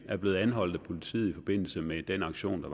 er blevet anholdt af politiet i forbindelse med den aktion der